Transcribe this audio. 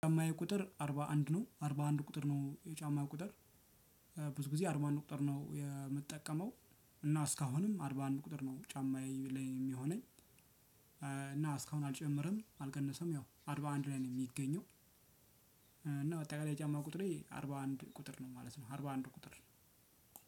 ጫማዬ ቁጥር አርባ አንድ ነው አርባ አንድ ቁጥር ነው የጫማዬ ቁጥር ብዙ ጊዜ አርባ አንድ ቁጥር ነው የምጠቀመው። እና እስካሁንም አርባ አንድ ቁጥር ነው ጫማዬ ላይ የሚሆነኝ። እና እስካሁን አልጨመርም አልቀነሰም ያው አርባ አንድ ላይ ነው የሚገኘው። እና ታያየ የጫማ ቁጥሬ አርባ አንድ ቁጥር ነው ማለት ነው። አርባ አንድ ቁጥር